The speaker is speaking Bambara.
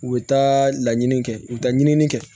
U bɛ taa laɲini kɛ u bɛ taa ɲinini kɛ